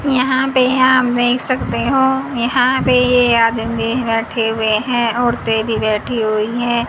यहां पे आप देख सकते हो यहां पे ये आदमी बैठे हुए हैं औरतें भी बैठी हुई हैं।